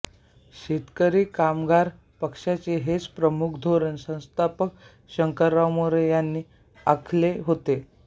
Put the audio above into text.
शेतकरी कामगार पक्षाचे हेच प्रमुख धोरण संस्थापक शंकरराव मोरे यांनी आखले होते